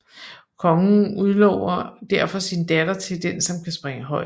Kongen udlover derfor sin datter til den som kan springe højest